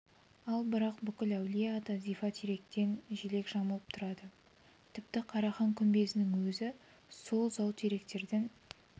ал бірақ бүкіл әулие-ата зифа теректен желек жамылып тұрады тіпті қарахан күмбезінің езі сол зау теректерден